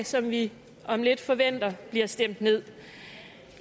som vi om lidt forventer bliver stemt nederst